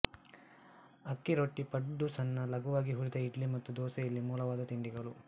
ಅಕ್ಕಿ ರೋಟಿ ಪಡ್ಡುಸಣ್ಣ ಲಘುವಾಗಿ ಹುರಿದ ಇಡ್ಲಿ ಮತ್ತು ದೋಸೆ ಇಲ್ಲಿ ಮೂಲವಾದ ತಿಂಡಿಗಳು